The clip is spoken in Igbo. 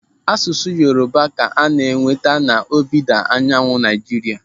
Asụsụ Yoruba ka ana-enweta n'ọdịda anyanwụ Naijiria.